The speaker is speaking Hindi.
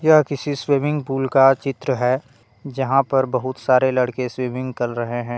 यह किसी स्विमिंग पूल का चित्र है जहाँ पर बहुत सारे लड़के स्विमिंग कर रहे है।